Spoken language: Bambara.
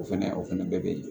O fɛnɛ o fɛnɛ bɛɛ be yen